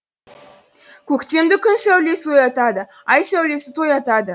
көктемді күн сәулесі оятады ай сәулесі тоятады